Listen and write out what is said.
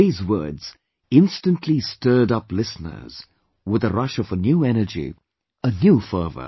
These words instantly stirred up listeners with a rush of a new energy, a new fervour